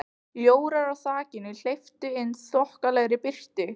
Ljórar á þakinu hleyptu inn þokkalegri birtu.